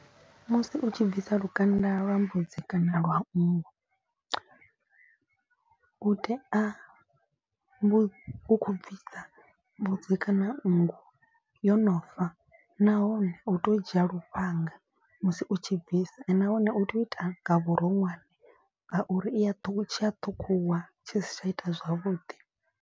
Musi u tshi bvisa lukanda lwa mbudzi kana lwa nngu u tea vhu khou bvisa mbudzi kana nngu yo no fa. Nahone u tea u dzhia lufhanga musi u tshi bvisa nahone u tea u ita nga vhuronwane. Ngauri i ya ṱhukhu tshi a ṱhukhuwa tshi si tsha ita zwavhuḓi.